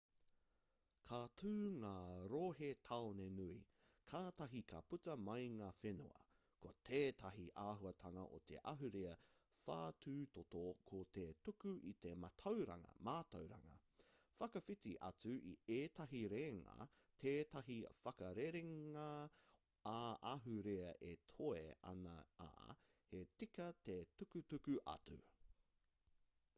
ka tū ngā rohe-tāone nui kātahi ka puta mai ngā whenua ko tētahi āhuatanga o te ahurea whatutoto ko te tuku i te mātauranga whakawhiti atu i ētahi reanga tētahi whakarerenga ā-ahurea e toe ana ā he tika te tukutuku atu